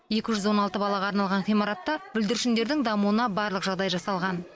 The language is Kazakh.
екі жүз он алты балаға арналған ғимаратта бүлдіршіндердің дамуына барлық жағдай жасалған